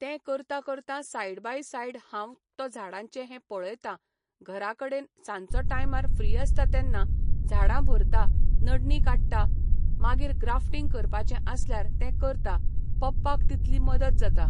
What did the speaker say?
तें करतां करतां सायड बाय सायड हांव तो झाडांचें हें पळयतां घरा कडेन सांजचो टायमार फ्री आसता तेन्ना झाडां भरता नडणी काडटा मागीर ग्राफ्टींग करपाचें आसल्यार तें करता पप्पाक तितली मदत जाता